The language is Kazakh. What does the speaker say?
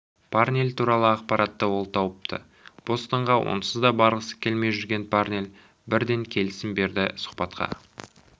парнель туралы ақпаратты ол тауыпты бостонға онсыз да барғысы келмей жүрген парнель бірден келісім берді сұхбатқа